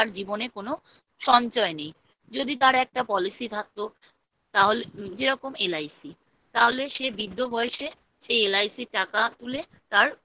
জীবনে কোনো সঞ্চয় নেই যদি তার একটা Policy থাকতো তাহলে যেরকম LIC তাহলে সে বৃদ্ধ বয়েসে সেই LIC র টাকা তুলে তার